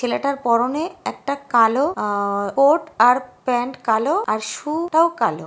ছেলেটার পরনে একটা কালো আ-আ-আ কোট আর প্যান্ট কালো আর সু --টাও কালো।